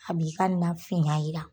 A bi ka na fiyan yira.